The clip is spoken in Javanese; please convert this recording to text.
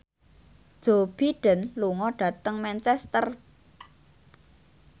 Joe Biden lunga dhateng Manchester